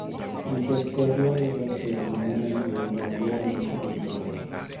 nikech Kerno yudo siro mang�eny e udi ariyo mag od bura.